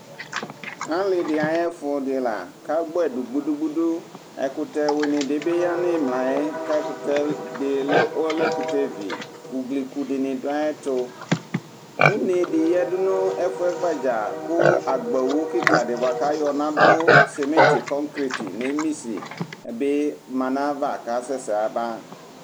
Alidi ayʋ ɛfʋ dila kʋ agbɔɛ dʋ gbudu gbudu ɛkʋtɛ wini di bi yanʋ imla yɛ kʋ ɔlɛ ɛkʋtɛvi ugliku dini dʋ ayʋ ɛtʋ une di yadʋ nʋ ɛfɛ gbadza kʋ agbawʋ kika di bʋakʋ ayɔ nadʋ simiti kɔkret nemisi bi manʋ ayava kʋ asɛsɛ yaba